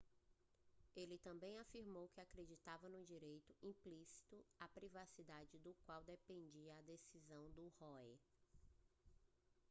ele também afirmou que acreditava no direito implícito à privacidade do qual dependia a decisão de roe